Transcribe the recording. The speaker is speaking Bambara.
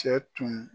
Cɛ tun